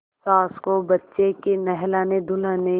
सास को बच्चे के नहलानेधुलाने